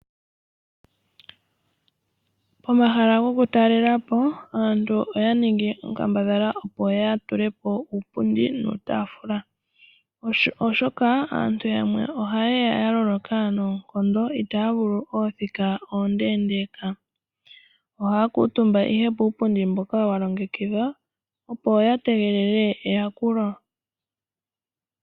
Pomahala goku talela po aantu oya ningi onkambadhala, opo ya tule po uupundi nuutaafula, oshoka aantu yamwe oha ye ya ya loloka noonkondo itaya vulu oothika oondeendeeka, ohaya kuutumba ihe puupundi mboka wa longekidhwa, opo ya tege eyakulo.